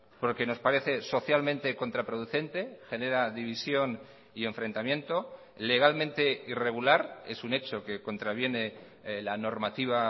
porque nos parece socialmente contraproducente genera división y enfrentamiento legalmente irregular es un hecho que contraviene la normativa